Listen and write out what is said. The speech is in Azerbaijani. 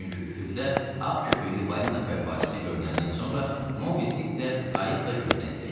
Çünki üfüqdə ağ köpüklü balina fəvvarəsi görünəndən sonra Mobi Dik də, qayıq da gözdən itib.